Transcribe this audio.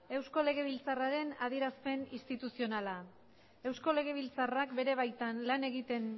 eusko legebiltzarraren adierazpen instituzionala eusko legebiltzarrak bere baitan lan egiten